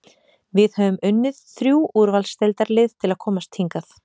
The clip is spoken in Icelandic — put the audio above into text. Við höfum unnið þrjú úrvalsdeildarlið til að komast hingað.